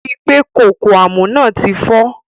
Ri pé kókó àmọ́ náà ti fọ́.